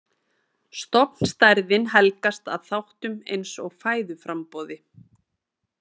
Stofnstærðin helgast að þáttum eins og fæðuframboði.